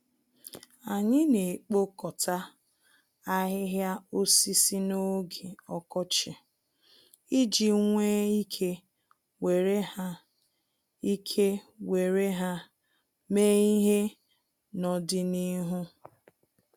Anyị naekpokọta ahịhịa osisi n'oge ọkọchị, iji nwee ike were ha ike were ha mee ihe nọdịnihu.